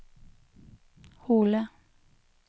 Hole